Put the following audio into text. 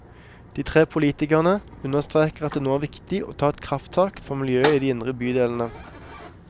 De tre politikerne understreker at det nå er viktig å ta et krafttak for miljøet i de indre bydelene.